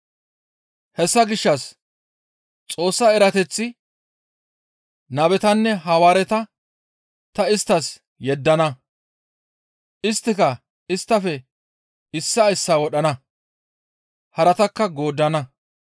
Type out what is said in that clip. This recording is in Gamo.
«Hessa gishshas Xoossa erateththi, ‹Nabetanne Hawaareta ta isttas yeddana; isttika isttafe issaa issaa wodhana; haratakka gooddana.